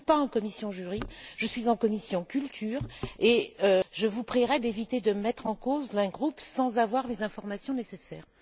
Je ne suis pas en commission juridique, je suis en commission de la culture, et je vous prierai d'éviter de me mettre en cause dans un groupe sans avoir les informations nécessaires.